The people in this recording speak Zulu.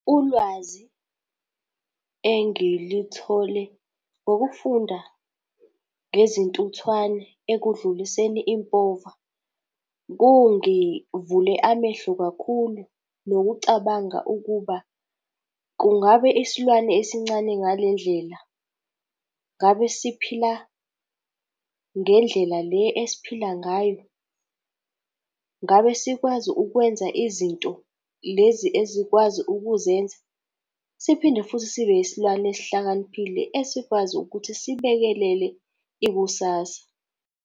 Ulwazi engilithole ngokufunda ngezintuthwane ekudluliseni impova, kungivule amehlo kakhulu nokucabanga ukuba, kungabe isilwane esincane ngale ndlela, ngabe siphila ngendlela le esiphila ngayo? Ngabe sikwazi ukwenza izinto lezi ezikwazi ukuzenza? Siphinde futhi sibe isilwane esihlakaniphile esikwazi ukuthi sibekelele ikusasa.